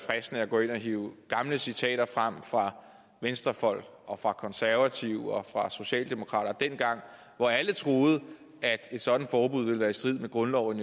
fristende at gå ind og hive gamle citater frem fra venstrefolk og fra konservative og fra socialdemokraterne dengang hvor alle troede at et sådant forbud ville være i strid med grundloven